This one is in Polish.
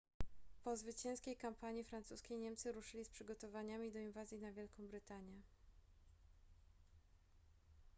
po zwycięskiej kampanii francuskiej niemcy ruszyli z przygotowaniami do inwazji na wielką brytanię